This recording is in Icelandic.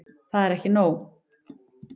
Það var ekki nóg.